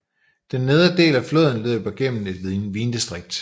Den nedre del af floden løber gennem et vindistrikt